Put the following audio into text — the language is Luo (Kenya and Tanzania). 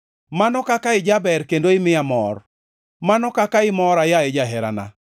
Mano kaka ijaber kendo imiya mor, mano kaka imora, yaye jaherana!